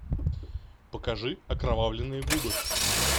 покажи окровавленные губы